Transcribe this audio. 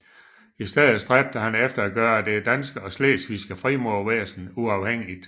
I stedet stræbte han efter at gøre det danske og slesvigske frimurervæsen uafhængigt